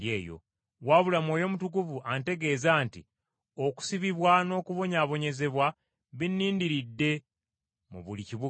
Wabula Mwoyo Mutukuvu antegeeza nti okusibibwa n’okubonyaabonyezebwa binnindiridde mu buli kibuga.